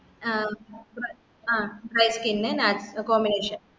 ആ ആ dry skin combination